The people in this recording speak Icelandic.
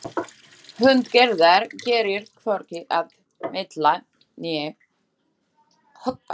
Hönd Gerðar gerir hvorki að meitla né höggva.